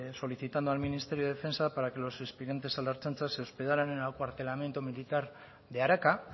solicitando al ministerio de defensa para que los aspirantes a la ertzaintza se hospedaran en el acuartelamiento militar de araca